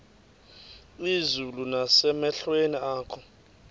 izulu nasemehlweni akho